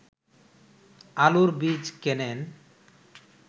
আলুর বীজ কেনেন